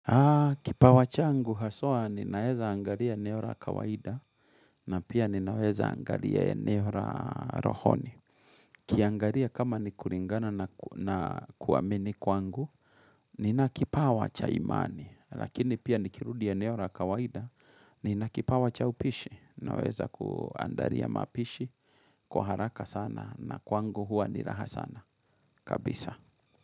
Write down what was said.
Kipawa changu haswa ninaweza angaria eneo ra kawaida na pia ninaweza angaria eneo ra rohoni. Kiangaria kama ni kuringana na kuamini kwangu, nina kipaw acha imani. Lakini pia nikirudi ya eneora kawaida, nina kipawa cha upishi. Ninaweza kuandaria mapishi, kwa haraka sana na kwangu huwa ni raha sana. Kabisa.